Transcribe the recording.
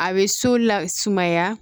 A bɛ so la sumaya